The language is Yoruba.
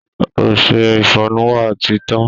Ọṣẹ ìfọnu wa ti tán